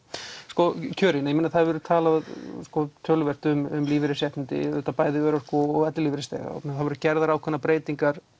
sko kjörin það hefur verið talað tölubert um lífeyrisréttindi auðvitað bæði örorku og ellilífeyrisþega og það voru gerðar ákveðnar breytingar